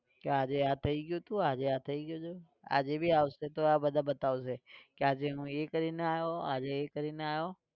કે આજે આ થઇ ગયું હતું આજે થઇ ગયું હતું આજે બી આવશે તો આ બધા બતાવશે કે આજે હું એ કરીને આવ્યો આજે એ કરીને આવ્યો.